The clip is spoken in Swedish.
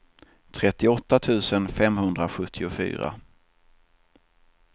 trettioåtta tusen femhundrasjuttiofyra